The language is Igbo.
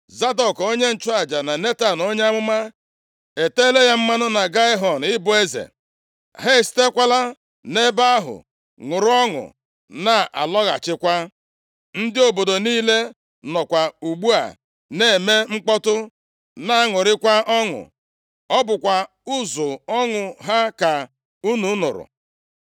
Zadọk onye nchụaja na Netan onye amụma eteela ya mmanụ na Gaihọn ịbụ eze. Ha esitekwala nʼebe ahụ ṅụrụ ọṅụ na-alaghachikwa, ndị obodo niile nọkwa ugbu a na-eme mkpọtụ, na-aṅụrịkwa ọṅụ. Ọ bụkwa ụzụ ọṅụ ha ka unu nụrụ.